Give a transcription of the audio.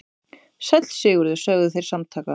Sæll Sigurður, sögðu þeir samtaka.